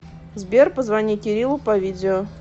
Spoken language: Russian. сбер позвони кириллу по видео